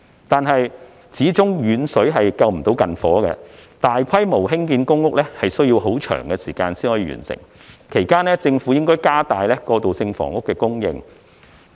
但是，遠水始終不能救近火，大規模興建公屋需要很長時間完成，其間政府應加大過渡性房屋的供應。